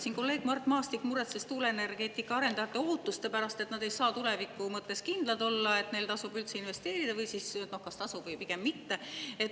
Siin kolleeg Mart Maastik muretses tuuleenergeetika arendajate ootuste pärast, et nad ei saa tuleviku mõttes kindlad olla, kas neil tasub üldse investeerida või siis pigem mitte.